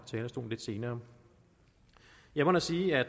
talerstolen lidt senere jeg må da sige at